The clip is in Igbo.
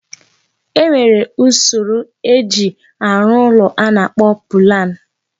E nwere usoro eji arụ ụlọ a na-akpọ pụlan.